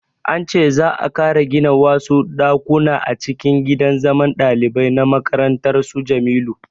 An ce za'a ƙara gina wasu ɗakuna a cikin gidan zaman ɗalibai na makarantar su Jamilu